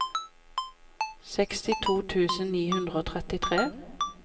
sekstito tusen ni hundre og trettitre